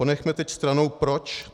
Ponechme teď stranou proč.